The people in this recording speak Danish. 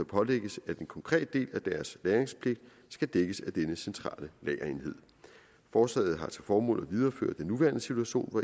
pålægges at en konkret del af deres lagringspligt skal dækkes af denne centrale lagerenhed forslaget har til formål at videreføre den nuværende situation hvor